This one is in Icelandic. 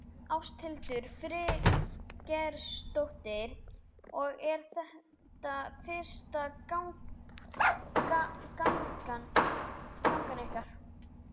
Ásthildur Friðgeirsdóttir: Og er þetta fyrsta gangan ykkar?